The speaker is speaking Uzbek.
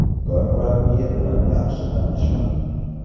Xitoy murabbiyi bilan yaxshi tanishman.